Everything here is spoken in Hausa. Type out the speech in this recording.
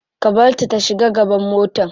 Ka barta ta shiga gaban mota.